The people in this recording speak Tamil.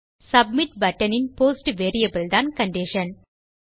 சப்மிட் பட்டன் இன் போஸ்ட் வேரியபிள் தான் கண்டிஷன்